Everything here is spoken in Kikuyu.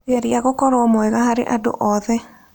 Geria gũkorũo mwega harĩ andũ othe.